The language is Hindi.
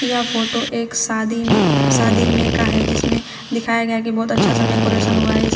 यह फोटो एक शादी शादी में का है जिसमें दिखाया गया की बहोत अच्छा सा डेकोरेशन हुआ है इसमें--